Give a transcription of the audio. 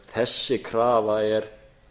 þessi krafa er